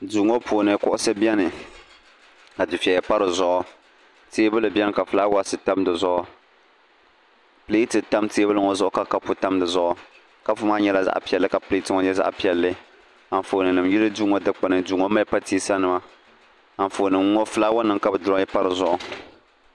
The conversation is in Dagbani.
Duu ŋɔ puuni kuɣusi biɛni ka dufeya pa dizuɣu teebuli biɛni ka filaawaasi tam dizuɣu pileti tam teebuli ŋɔ zuɣu ka kapu tam dizuɣu kapu maa nyɛla zaɣa piɛlli ka pileti maa nyɛ zaɣa piɛlli anfooni nima yili duu ŋɔ dikpini duu ŋɔ mali pateesa nima anfooni nima ŋɔ filaawa nima ka bɛ diroyi pa dizuɣu.